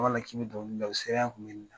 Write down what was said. k'i bɛ dɔnkili da o